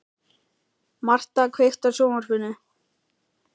Martha, kveiktu á sjónvarpinu.